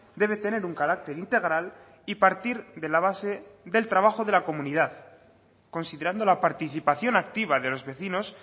debe tener un carácter integral y partir de la base del trabajo de la comunidad considerando la participación activa de los vecinos